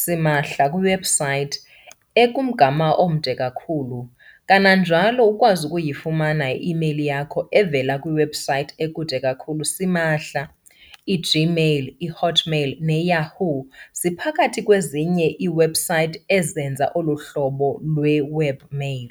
simahla kwi-website ekumgama omde kakhulu, kananjalo ukwazi ukuyifumana i-email yakho evela kwi-website ekude kakhulu simahla. i-Gmail, i-Hotmail ne-Yahoo! ziphakathi kwezinye ii-website ezenza olu hlobo lwe-"web mail".